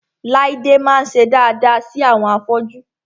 Láídé máa ń ṣe daada sí àwọn afọ́jú